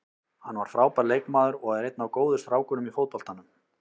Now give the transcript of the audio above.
Hann var frábær leikmaður og er einn af góðu strákunum í fótboltanum.